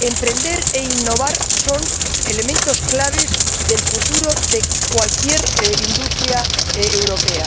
Emprender e innovar son elementos claves del futuro de cualquier industria europea.